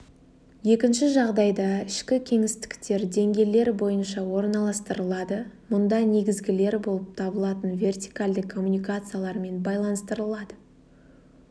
екінші жағдайда ішкі кеңістіктер деңгейлер бойынша орналастырылады мұнда негізгілер болып табылатын вертикальді коммуникациялармен байланыстырылады